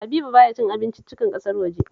Habibu ba ya cin abinciccikan kasar waje